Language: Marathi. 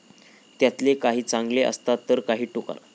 त्यातले काही चांगले असतात तर काही टुकार.